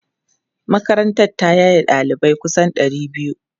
Makarantar ta yaye ɗalibai kusan ɗari biyu.